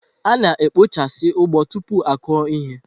A na-ekpochasị ugbo tupu akụo ihe.